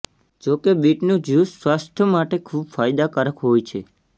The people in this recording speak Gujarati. જોકે બીટનું જ્યૂસ સ્વાસ્થ્ય માટે ખૂબ ફાયદાકારક હોય છે